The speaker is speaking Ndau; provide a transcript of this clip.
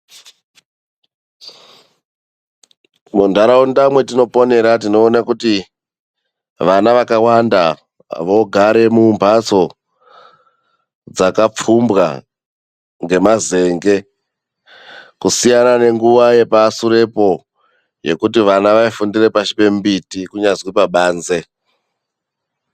Mundaraunda mwetinoponera tinoone kuti vana vakawanda vogara mumbatso dzakapfumbwa ngemazenge. Kusiyana nenguva yepasurepo yekuti vana vaifundira pasi pembiti kunyazi pabanze.